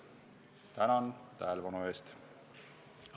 Tänan tähelepanu eest!